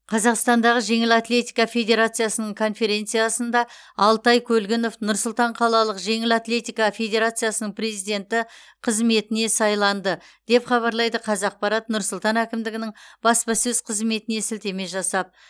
қазақстандағы жеңіл атлетика федерациясының конференциясында алтай көлгінов нұр сұлтан қалалық жеңіл атлетика федерациясының президенті қызметіне сайланды деп хабарлайды қазақпарат нұр сұлтан әкімдігінің баспасөз қызметіне сілтеме жасап